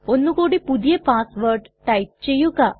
ഒന്നു കൂടി പുതിയ പാസ്സ് വേർഡ് ടൈപ്പ് ചെയ്യുക